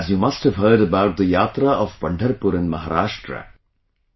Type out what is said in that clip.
As you must have heard about the Yatra of Pandharpur in Maharashtra...